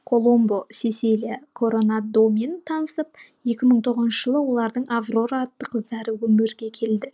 коломбо сесилия коронадомен танысып екі мың тоғызыншы жылы олардың аврора атты қыздары өмірге келеді